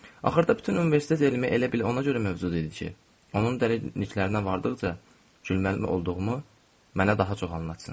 Axırda bütün universitet elmi elə bil ona görə mövcud idi ki, onun dəliliklərinə vardıqca gülməli olduğumu mənə daha çox anlatsın.